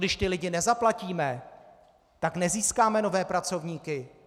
Když ty lidi nezaplatíme, tak nezískáme nové pracovníky.